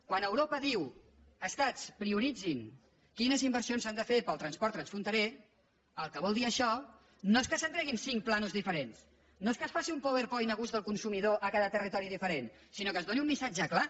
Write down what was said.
quan europa diu estats prioritzin quines inversions s’han de fer per al transport transfronterer el que vol dir això no és que se’n treguin cinc plànols diferents no és que es faci un powerpoint a gust del consumidor a cada territori diferent sinó que es doni un missatge clar